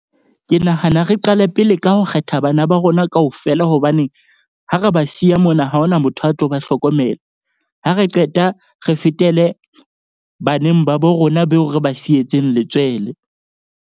Ke nahana re qale pele ka ho kgetha bana ba rona kaofela. Hobaneng ha re ba siya mona ha hona motho a tlo ba hlokomela. Ha re qeta re fetele baneng ba bo rona beo re ba sietseng letswele.